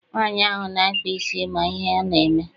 Nwaanyi ahụ na-akpa isi ma ihe ọ na-eme.